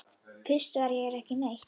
Fyrst var hér ekki neitt.